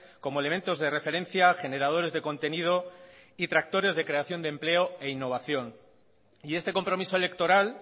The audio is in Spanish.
como elementos de referencia generadores de contenido y tractores de creación de empleo e innovación y este compromiso electoral